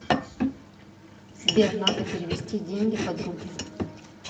сбер надо перевести деньги подруге